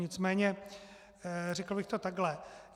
Nicméně řekl bych to takhle.